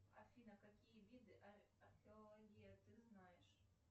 афина какие виды археология ты знаешь